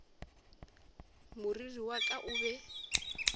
moriri wa ka o be